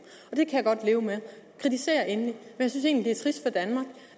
det kan jeg godt leve med kritisér endelig